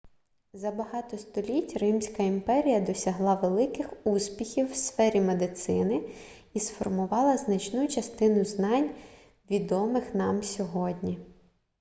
за багато століть римська імперія досягла великих успіхів в сфері медицини і сформувала значну частину знань відомих нам сьогодні